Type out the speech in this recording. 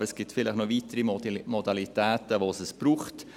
Aber es gibt vielleicht noch weitere Modalitäten, bei denen es das braucht.